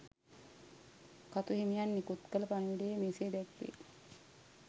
කතු හිමියන් නිකුත් කළ පණිවුඩයේ මෙසේ දැක්වේ.